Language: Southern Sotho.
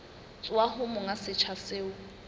tswa ho monga setsha seo